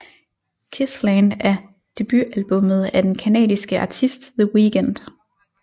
Kiss land er debutalbummet af den canadiske artist The Weeknd